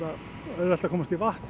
auðvelt að komast í vatn